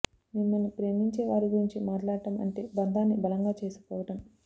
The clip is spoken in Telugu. మిమ్మల్ని ప్రేమించే వారి గురించి మాట్లాడటం అంటే బంధాన్ని బలంగా చేసుకోవడం